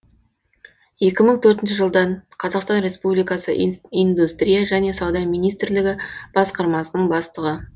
екі мың төртінші жылдан қазақстан республикасы индустрия және сауда министрлігі басқармасының бастығы